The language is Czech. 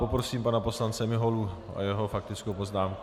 Poprosím pana poslance Miholu o jeho faktickou poznámku.